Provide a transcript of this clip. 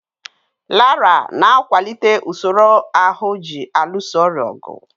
Laraa na-akwalite usoro ahụ ji alụso ọrịa ọgụ.